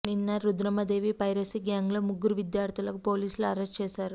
నిన్న Rudhramadevi piracy gang లో ముగ్గురు విద్యార్థులను పోలీసులు అరెస్ట్ చేశారు